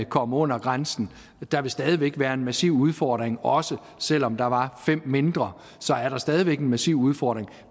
kommer under grænsen der vil stadig væk være en massiv udfordring også selv om der var fem mindre så er der stadig væk en massiv udfordring